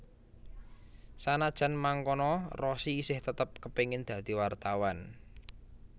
Sanajan mangkono Rossi isih tetep kepéngin dadi wartawan